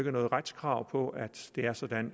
er noget retskrav på at det er sådan